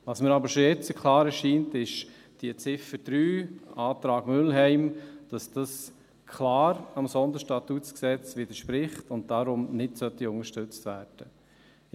Was mir aber schon jetzt klar erscheint: Dass diese Ziffer 3, Antrag Mühlheim, klar dem SStG widerspricht und daher nicht unterstützt werden sollte.